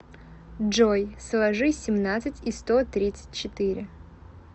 джой сложи семнадцать и сто тридцать четыре